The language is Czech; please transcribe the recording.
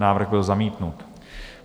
Návrh byl zamítnut.